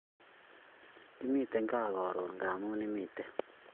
Kimiten kaa karun ngamun imiten